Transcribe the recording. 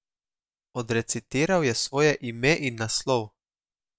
Odrecitiral je svoje ime in naslov!